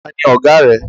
Tani Ọ̀gáà rẹ?